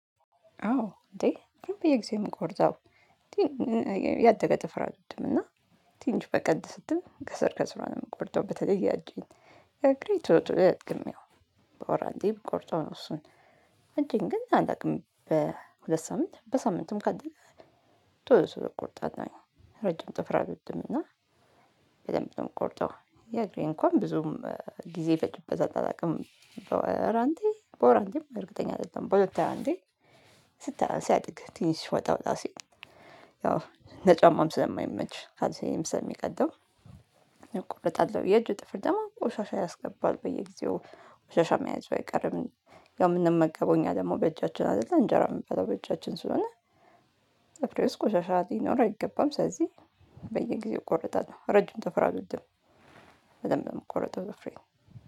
አዎ እንዴ በየጊዜው ነው የምቆርጠው እንዴ ያደገ ጥፍር አልወድም። እና ትንሽ በቀል ስትል ከስር ከስሯ ነው የምቆርጠው። በተለይ የእጄን የእግሬ ቶሎ ቶሎ አያድግም። ያው በወር አንዴ ብቆርጠው ነው እሱን እጄን ግን አላውቅም በሁለት ሳምንት በሳምንትም ካደገ ቶሎ ቶሎ እቆርጣለሁኝ። ረጅም ጥፍር አልወድም። እና በደንብ ነው የምቆርጠው። የእግሬ እንኳን ብዙም ጊዜ ይፈጂበታል አላቅም በወር አንዴ በወር አንዴም እርግጠኛ አይደለሁም። በሁለት አንዴ ስታ ሲያድግ ትንሽ ወጣ ወጣ ሲል። ለጫማም ስለማይመች ካልሴንም ስለሚቀደው እቆረጣለሁ። የእጅ ጥፍር ደግሞ ቆሻሻ ያስገባል በየጊዜው ቆሻሻ መያዙ አይቀርም። ያው የምንመገበው እኛ ደግሞ በእጃችን አይደለ እንጀራ የምበለው በእጃችን ስለሆነ። ጥፍሬ ውስጥ ቆሻሻ ሊኖር አይገባም። ስለዚህ በየጊዜው እቆረጣለሁ ረጂም ጥፍር አልወድም። በደንብ ነው የምቆረጠው ጥፍሬን